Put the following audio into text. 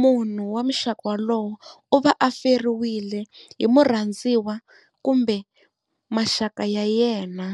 munhu wa muxaka wolowo u va a feriwile hi murhandziwa kumbe maxaka ya yena.